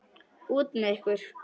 Út með ykkur.